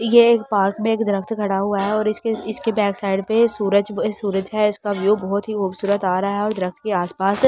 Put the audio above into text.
ये पार्क में एक दरफ्त खड़ा हुआ है और इसके इसके बेकसाइड में सूरज सूरज है इसको व्यू बहुत ही खुबसूरत आ रहा है और दरफ्त के आस पास हरी --